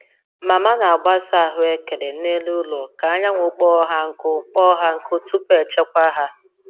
Mama na-agbasa ahụekere n’elu ụlọ ka anyanwụ kpoo ha nkụ kpoo ha nkụ tupu echekwa ha.